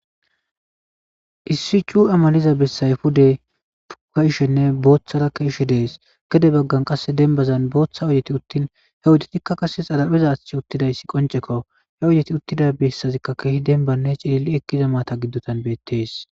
issi cuya maliza besayi pudde cuyishene bothara keyishe dessi dessi gede baggani demibazan botha betti utin oyidetika qassi xariphezi utidayisi qonicceko eti utida besika kehi demibane cili'li ekiza matadani betes